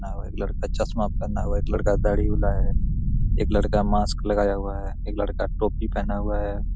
एक लड़का चश्मा पहना हुआ है एक लड़का घड़ी वाला है एक लड़का मास्क लगाया हुआ है एक लड़का टोपी पहना हुआ है।